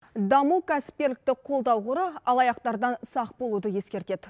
даму кәсіпкерлікті қолдау қоры алаяқтардан сақ болуды ескертеді